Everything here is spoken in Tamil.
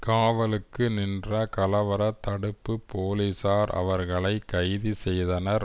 காவலுக்கு நின்ற கலவரத் தடுப்பு போலீசார் அவர்களை கைது செய்தனர்